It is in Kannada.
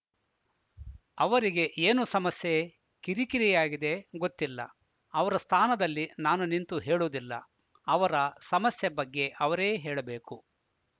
ಅವರಿಗೆ ಏನು ಸಮಸ್ಯೆ ಕಿರಿಕಿರಿಯಾಗಿದೆ ಗೊತ್ತಿಲ್ಲ ಅವರ ಸ್ಥಾನದಲ್ಲಿ ನಾನು ನಿಂತು ಹೇಳುವುದಿಲ್ಲ ಅವರ ಸಮಸ್ಯೆ ಬಗ್ಗೆ ಅವರೇ ಹೇಳಬೇಕು